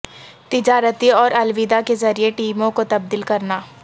تجارتی اور الوداع کے ذریعے ٹیموں کو تبدیل کرنا